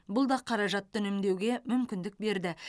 бұл да қаражатты үнемдеуге мүмкіндік берді